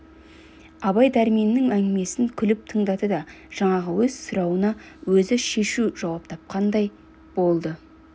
абай дәрменнің әңгімесін күліп тыңдады да жаңағы өз сұрауына өзі шешу жауап айтқандай болды